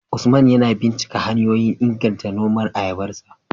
Usman yana binciko hanyoyin inganta noman ayabarsa